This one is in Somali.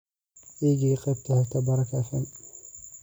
i gee qaybta xigta baraka f.m.